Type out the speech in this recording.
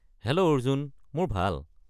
Hello Arjun! মোৰ ভাল।